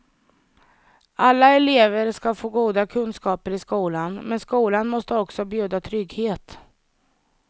Alla elever ska få goda kunskaper i skolan, men skolan måste också bjuda trygghet.